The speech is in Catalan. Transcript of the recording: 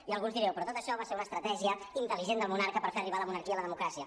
i alguns direu però tot això va ser una estratègia intel·ligent del monarca per fer arribar la monarquia a la democràcia